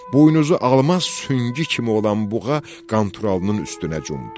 Buynuzu almaz süngü kimi olan buğa Qanturalının üstünə cumdu.